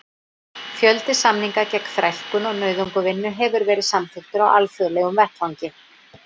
Fjöldi samninga gegn þrælkun og nauðungarvinnu hefur verið samþykktur á alþjóðlegum vettvangi.